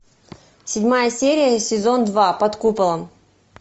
седьмая серия сезон два под куполом